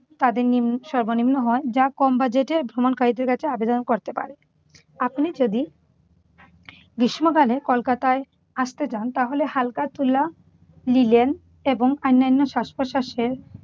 তাদের নিম্ সর্বনিম্ন হয় যা কম budget এর ভ্রমণকারীদের কাছে আবেদন করতে পারে। আপনি যদি গ্রীষ্মকালে কলকাতায় আসতে চান তাহলে হালকা তুলা, লিলেন এবং অন্যান্য শ্বাস-প্রশ্বাসের